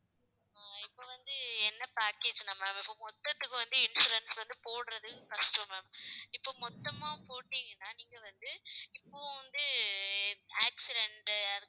ஆஹ் இப்ப வந்து என்ன package னா ma'am இப்ப மொத்தத்துக்கு வந்து insurance வந்து போடுறது கஷ்டம் ma'am இப்ப மொத்தமா போட்டீங்கன்னா நீங்க வந்து இப்பவும் வந்து accident